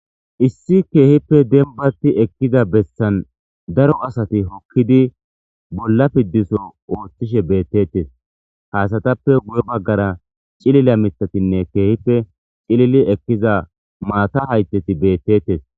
Issi dembatti ekkiza daro asati bolla piddiso oothishe beettetes ha asatappe guye baggara cilila mithatinne keehippe cilili ekkiza maata haytheti beetettes.